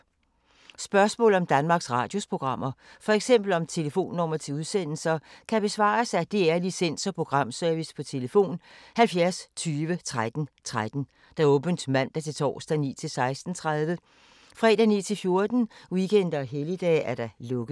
Spørgsmål om Danmarks Radios programmer, f.eks. om telefonnumre til udsendelser, kan besvares af DR Licens- og Programservice: tlf. 70 20 13 13, åbent mandag-torsdag 9.00-16.30, fredag 9.00-14.00, weekender og helligdage: lukket.